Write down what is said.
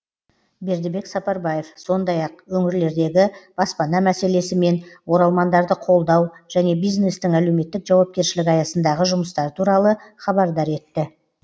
бердібек сапарбаев сондай ақ өңірлердегі баспана мәселесі мен оралмандарды қолдау және бизнестің әлеуметтік жауапкершілігі аясындағы жұмыстар туралы хабардар етті